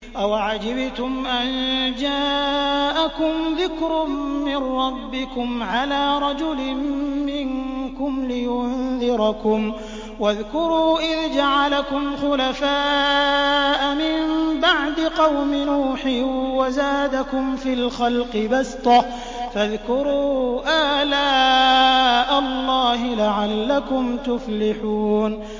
أَوَعَجِبْتُمْ أَن جَاءَكُمْ ذِكْرٌ مِّن رَّبِّكُمْ عَلَىٰ رَجُلٍ مِّنكُمْ لِيُنذِرَكُمْ ۚ وَاذْكُرُوا إِذْ جَعَلَكُمْ خُلَفَاءَ مِن بَعْدِ قَوْمِ نُوحٍ وَزَادَكُمْ فِي الْخَلْقِ بَسْطَةً ۖ فَاذْكُرُوا آلَاءَ اللَّهِ لَعَلَّكُمْ تُفْلِحُونَ